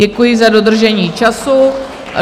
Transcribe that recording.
Děkuji za dodržení času.